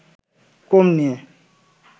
কম নিয়ে